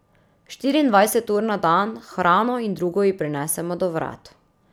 Štiriindvajset ur na dan, hrano in drugo ji prinesemo do vrat.